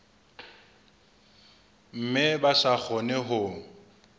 mme ba sa kgone ho